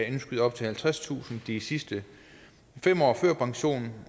indskyde op til halvtredstusind de sidste fem år før pensionen